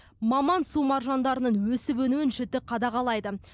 маман су маржандарының өсіп өнуін жіті қадағалайды